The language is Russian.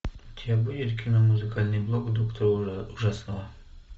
у тебя будет кино музыкальный блог доктора ужасного